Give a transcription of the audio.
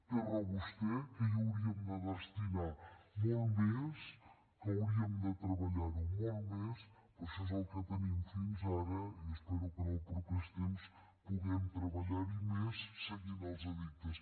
té raó vostè que hi hauríem de destinar molt més que hauríem de treballar ho molt més però això és el que tenim fins ara i espero que en els propers temps puguem treballar hi més seguint els addictes